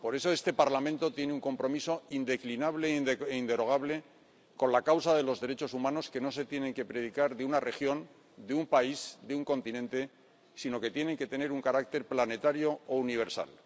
Por eso, este Parlamento tiene un compromiso indeclinable e inderogable con la causa de los derechos humanos, que no se tienen que predicar de una región, de un país, de un continente, sino que tienen que tener un carácter planetario o universal.